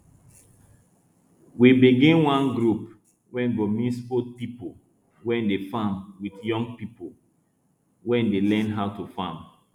we begin one group wey go mix old people wey dey farm with young people wey dey learn how to farm